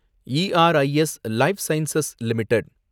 E R I S life sciences limited